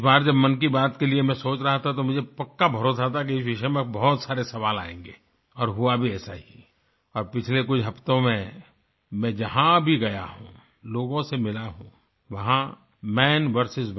इस बार जब मन की बात के लिए मैं सोच रहा था तो मुझे पक्का भरोसा था कि इस विषय में बहुत सारे सवाल आयेंगे और हुआ भी ऐसा ही और पिछले कुछ हफ़्तों में मैं जहाँ भी गया लोगों से मिला हूँ वहाँ मन वीएस